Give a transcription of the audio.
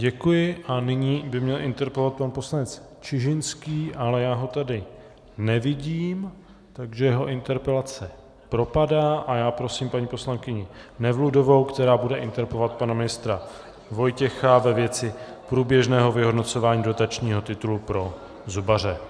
Děkuji a nyní by měl interpelovat pan poslanec Čižinský, ale já ho tady nevidím, takže jeho interpelace propadá a já prosím paní poslankyni Nevludovou, která bude interpelovat pana ministra Vojtěcha ve věci průběžného vyhodnocování dotačního titulu pro zubaře.